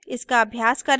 इसका अभ्यास करें